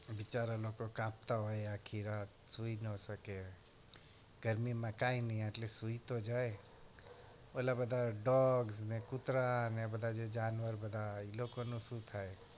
બિચારા લોકો કાપતા હોય આખી રાત સુઈ ન શકે ગરમીમાં કાઈ નહિ સુઈ તો જાય ઓંલા બધા dog કુતરા એ બધા જાનવર એ બધા ઈ લોકોનું શું થાય?